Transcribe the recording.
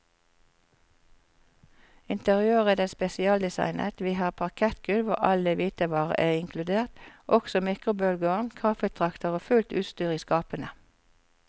Interiøret er spesialdesignet, vi har parkettgulv og alle hvitevarer er inkludert, også mikrobølgeovn, kaffetrakter og fullt utstyr i skapene.